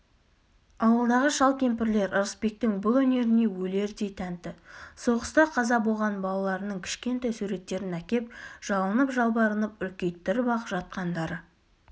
ауылдағы шал-кемпірлер ырысбектің бұл өнеріне өлердей тәнті соғыста қаза болған балаларының кішкентай суреттерін әкеп жалынып-жалбарынып үлкейттіріп-ақ жатқандары